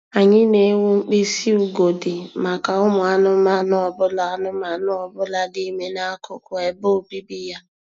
Anyị na-ewu mkpịsị ugodi maka ụmụ anụmanụ ọ bụla anụmanụ ọ bụla dị ime n'akụkụ ebe obibi ya